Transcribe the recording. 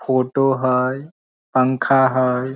Photo हई पंखा हई।